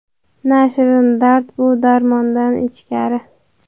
Na shirin dard bu – darmondan ichkari.